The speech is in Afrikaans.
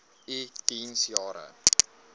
u diens jare